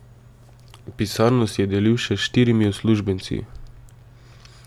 Pisarno si je delil še s štirimi uslužbenci.